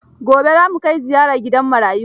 Gobe za mu kai ziyara gidan marayu.